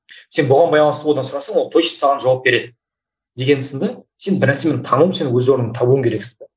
сен бұған байланысты одан сұрасаң ол точно саған жауап береді деген сынды сен бір нәрсені тану сен өз орныңды табуың керексің де